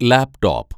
laptop